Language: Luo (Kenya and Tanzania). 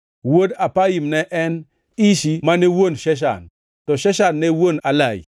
Wuod Apaim ne en: Ishi mane wuon Sheshan. To Sheshan ne wuon Alai.